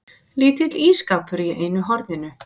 Lítill ísskápur í einu horninu.